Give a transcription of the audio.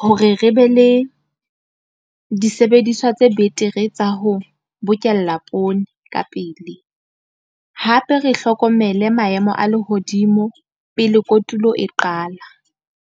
hore re be le disebediswa tse betere tsa ho bokella poone ka pele, hape re hlokomele maemo a lehodimo pele kotulo e qala.